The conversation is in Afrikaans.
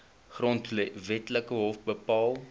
grondwetlike hof bepaal